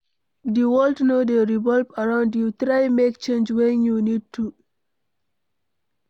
Di world no dey revolve around you, try make change when you need to